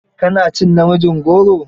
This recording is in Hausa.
Ka ci namijin goron?